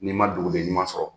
N'i ma dugu den ɲuman sɔrɔ.